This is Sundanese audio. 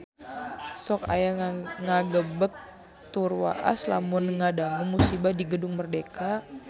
Sok asa ngagebeg tur waas lamun ngadangu musibah di Gedung Merdeka